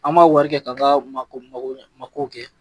An b'a wari kɛ ka ka mako mako mako kɛ.